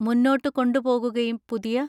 മുന്നോട്ട് കൊണ്ടുപോകുകയും പുതിയ